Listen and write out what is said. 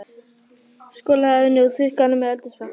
Skolaðu af henni og þurrkaðu hana með eldhúspappír.